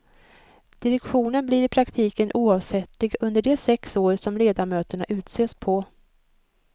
Direktionen blir i praktiken oavsättlig under de sex år som ledamöterna utses på.